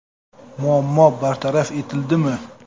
Muammo bartaraf etiladimi?